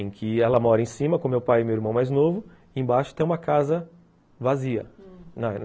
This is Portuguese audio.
em que ela mora em cima, com meu pai e meu irmão mais novo, e embaixo tem uma casa vazia, hum